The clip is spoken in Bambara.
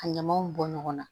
Ka ɲamaw bɔ ɲɔgɔn na